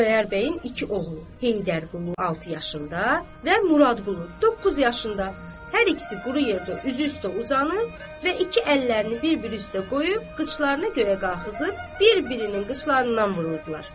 Xudayar bəyin iki oğlu, Heydərqulu altı yaşında və Muradqulu doqquz yaşında hər ikisi quru yerdə üzü üstə uzanıb və iki əllərini bir-bir üstə qoyub qıçlarını yuxarı qaldırıb bir-birinin qıçlarından vururdular.